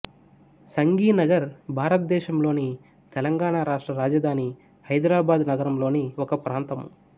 సంఘి నగర్ భారతదేశంలోని తెలంగాణ రాష్ట్ర రాజధాని హైదరాబాదు నగరంలోని ఒక ప్రాంతము